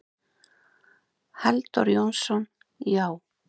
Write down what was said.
Halldór Jónsson: Já.